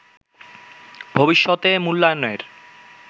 ভবিষ্যতে মূল্যায়নের